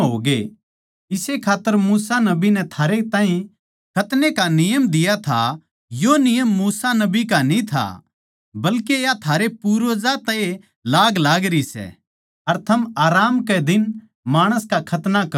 इस्से खात्तर मूसा नबी नै थारैताहीं खतनै का नियम दिया था यो नियम मूसा नबी का न्ही था बल्के या थारे पूर्वजां तै ए लाग लागरी सै अर थम आराम कै दिन माणस का खतना करो सो